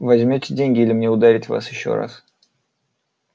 возьмёте деньги или мне ударить вас ещё раз